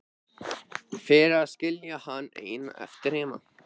Fyrir að skilja hann einan eftir heima.